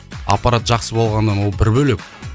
аппарат жақсы болғаны ол бір бөлек